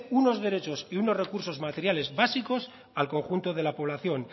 unos derechos y unos recursos materiales básicos al conjunto de la población